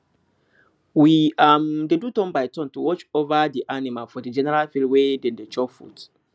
we um dey do turnbyturn to watch over the animal for the general field wey dem they chop food